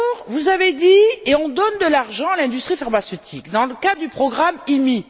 Vous avez dit On donne de l'argent à l'industrie pharmaceutique, dans le cadre du programme IMI.